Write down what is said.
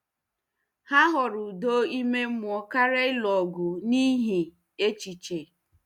Ha họọrọ udo ime mmụọ karịa ịlụ ọgụ n'ihi echiche.